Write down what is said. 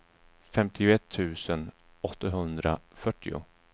femtioett tusen åttahundrafyrtio